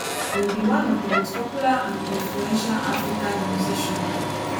im be one of di most popular and influential african nusician